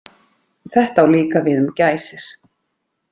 Þetta á líka við um gæsir.